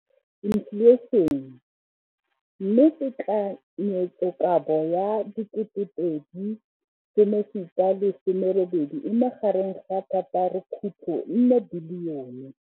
Infleišene, mme tekanyetsokabo ya 2017, 18, e magareng ga R6.4 bilione.